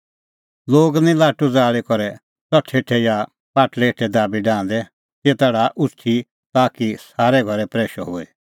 लोग निं लाटू ज़ाल़ी करै च़ठै हेठै या पाटल़ै हेठै दाबी डाहंदै तेता डाहा उछ़टै दी ताकि सारै घरै प्रैशअ होए